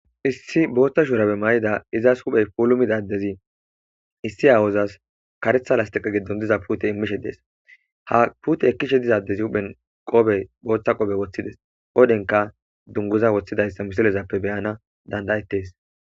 issi booththa shuurabe mayida izas huphey puulumida adezi issi aawozas karetha lastiqa giddon diza pute immishe dees ha pute ekkishe diza adez huphen qoobe boothta qobe woththides odhenka dunguza woththidayssa misilezappe beyana dandayettes